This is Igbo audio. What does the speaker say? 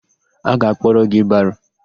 A ga-akpọrọ gị baro?